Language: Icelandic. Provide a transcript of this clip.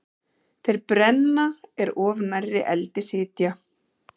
Þeir brenna er of nærri eldi sitja.